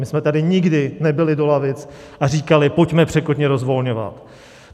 My jsme tady nikdy nebili do lavic a neříkali "pojďme překotně rozvolňovat".